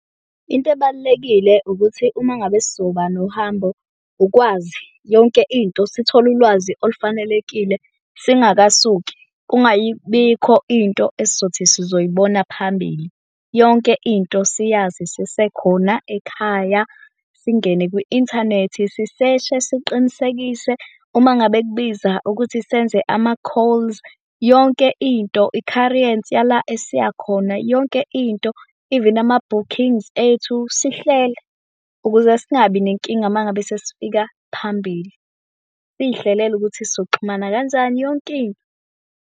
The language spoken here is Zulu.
Into ebalulekile ukuthi uma ngabe sizoba nohambo ukwazi yonke into, sithola ulwazi olufanelekile singakasuki. Kungayibikho into esizothi sizoyibona phambili. Yonke into siyazi sisekhona ekhaya, singene kwi-inthanethi siseshe siqinisekise. Uma ngabe kubiza ukuthi senze ama-calls yonke into. Ikhariyensi yala esiya khona yonke into even ama-bookings ethu sihlele ukuze singabi nenkinga uma ngabe sesifika phambili. Siyihlelele ukuthi sizoxhumana kanjani yonke into.